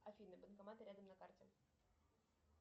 афина банкоматы рядом на карте